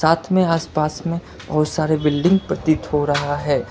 साथ में आसपास में और सारे बिल्डिंग प्रतीत हो रहा है।